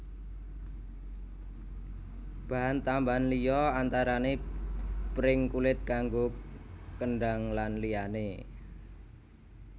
Bahan tambahan liya antarane pring kulit kanggo kendhang lan liyane